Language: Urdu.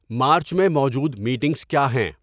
مارچ میں موجود میٹنگس کیا ہیں